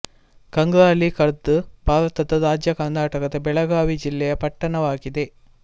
ಕಂಗ್ರಾಳಿ ಖುರ್ದ್ ಭಾರತದ ರಾಜ್ಯ ಕರ್ನಾಟಕದ ಬೆಳಗಾವಿ ಜಿಲ್ಲೆಯ ಪಟ್ಟಣವಾಗಿದೆ